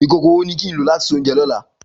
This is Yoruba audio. Ikókó wó ni kin ló làtí sé óunjè lolá